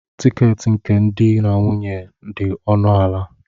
Tiketi nke di na nwunye dị ọnụ ala